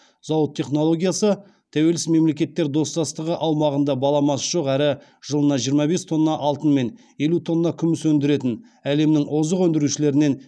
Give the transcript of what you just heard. зауыт технологиясы тәуелсіз мемлекеттер достастығы аумағында баламасы жоқ әрі жылына жиырма бес тонна алтын мен елу тонна күміс өндіретін әлемнің озық өндірушілерінен